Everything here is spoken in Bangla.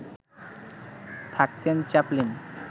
থাকতেন চ্যাপলিন